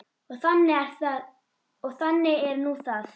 Og þannig er nú það.